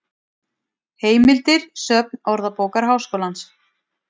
Heimildir Söfn Orðabókar Háskólans.